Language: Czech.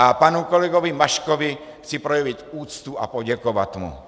A panu kolegovi Maškovi chci projevit úctu a poděkovat mu.